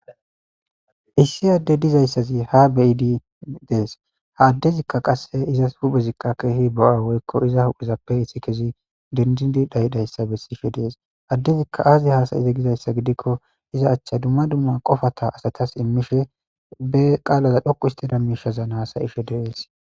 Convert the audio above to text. Issi adde dizayssazi ha bidi dees ha addezikka qasse izas huphezikqa keehi bo7a woykko iza hudhizappe issi kezi dindindi dhayidayssa bessishe dees addezikka aazi haasayize gizayssa gidikko iza achcha dumma dumma qofata asatas immishe be qaalaza dhoqu histida mishazan haasayishe de7eesi.